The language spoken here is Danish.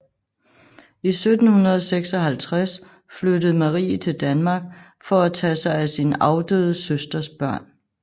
I 1756 flyttede Marie til Danmark for at tage sig af sin afdøde søsters børn